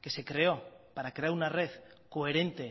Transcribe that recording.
que se creo para crear una red coherente